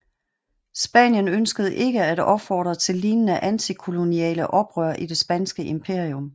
Spanien ønskede ikke at opfordre til lignende antikoloniale oprør i det spanske imperium